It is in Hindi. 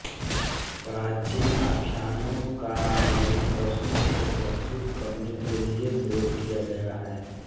प्राचीन आख्यानों का नवीन प्रश्नों को प्रस्तुत करने के लिए प्रयोग किया गया है